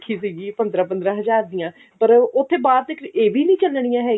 ਕਿਸੀ ਦੀ ਪੰਦਰਾਂ ਪੰਦਰਾਂ ਹਜ਼ਾਰ ਦੀਆਂ ਪਰ ਉੱਥੇ ਬਾਹਰ ਤੇ ਇਹ ਵੀ ਨੀ ਚੱਲਣੀਆਂ